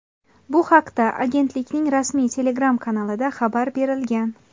Bu haqda agentlikning rasmiy Telegram kanalida xabar berilgan .